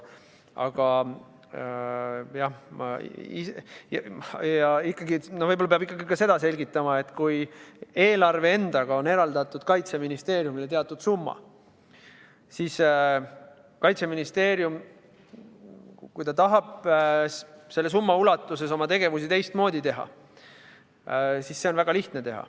Aga võib-olla peab ikkagi ka seda selgitama, et kui eelarvega on eraldatud Kaitseministeeriumile teatud summa ja kui Kaitseministeerium tahab selle summa ulatuses oma tegevusi teistmoodi teha, siis on see väga lihtne.